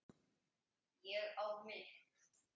Ég á mitt.